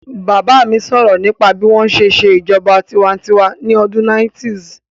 Bàbá mi sọ̀rọ̀ nípa bí wọ́n ṣe n ṣe ìṣèjọba tinwatinwa ní ọdún 90's